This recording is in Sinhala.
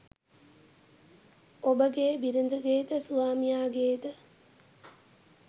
ඔබගේ බිරිඳගේ ද ස්වාමියාගේ ද